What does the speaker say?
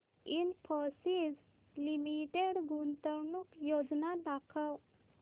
Infosys limited गुंतवणूक योजना दाखव